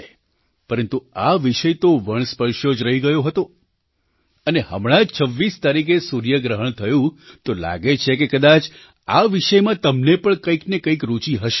પરંતુ આ વિષય તો વણસ્પર્શ્યો જ રહી ગયો હતો અને હમણાં 26 તારીખે સૂર્યગ્રહણ થયું તો લાગે છે કે કદાચ આ વિષયમાં તમને પણ કંઈ ને કંઈ રૂચિ હશે જ